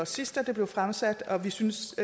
sidst det blev fremsat og vi synes